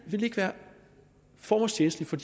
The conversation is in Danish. ikke være formålstjenstligt for